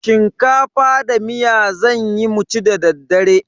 Shinkafa da miya zanyi mu ci da daddare.